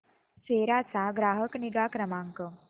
सेरा चा ग्राहक निगा क्रमांक